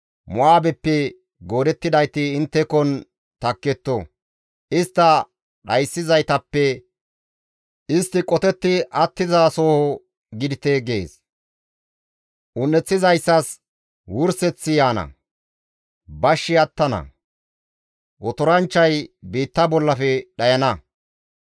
Mo7aabeppe goodettidayti inttekon takketto; istta dhayssizaytappe istti qotetti attizasoho gidite» gees. Un7eththizayssas wurseththi yaana; bashshi attana; otoranchchay biitta bollafe dhayana.